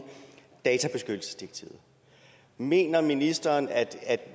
databeskyttelsesdirektivet mener ministeren at